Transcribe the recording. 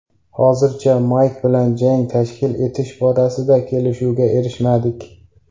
Hozircha Mayk bilan jang tashkil etish borasida kelishuvga erishmadik.